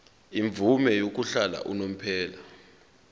imvume yokuhlala unomphela